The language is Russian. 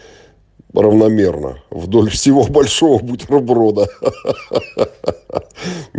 равномерно вдоль всего большого бутерброда ахаха